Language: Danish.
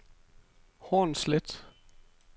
Hornslet